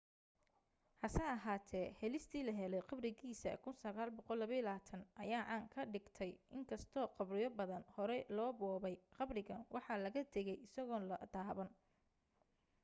hase ahaatee helistii la helay qabrigiisa 1922 ayaa caan ka dhigtay in kastoo qabriyo badan horey loo boobay qabrigan waxa laga tagay isagoon la taaban